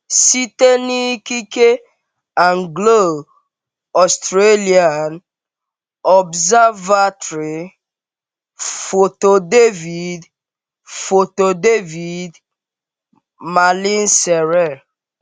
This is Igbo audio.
Site n’ikike Anglo - Australian Observatory, foto David, foto David Malin sere